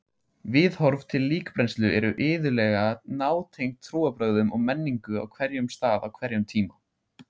Viðhorf til líkbrennslu eru iðulega nátengd trúarbrögðum og menningu á hverjum stað á hverjum tíma.